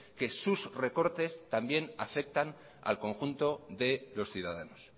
que sus recortes también afectan al conjunto de los ciudadanos